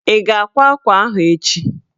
Ị ga-akwa akwa ahụ echi?